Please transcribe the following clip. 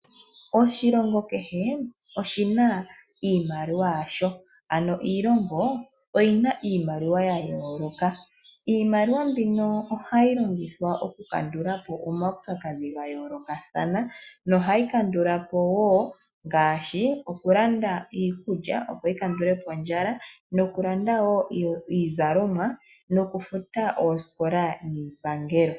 Oshilongo kehe oshina iimaliwa yasho. Ano iilongo oyina iimaliwa yayoloka. Iimaliwa mbino ohayi longithwa oku kandulapo oomautsakadhi ga yoolokathana. No hayi kandulapo wo ngaashi oku landa iikulya opo yi kandulepo ondjala noku landa wo iizalomwa noku futa oosikola niipangelo.